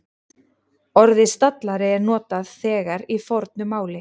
Orðið stallari er notað þegar í fornu máli.